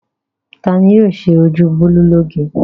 Ta ni yóò ṣe ojú Bólú lóge?